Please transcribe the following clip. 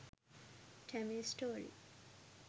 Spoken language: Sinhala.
tamil story